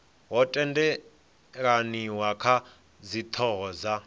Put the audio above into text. ho tendelaniwa kha dzithoho dza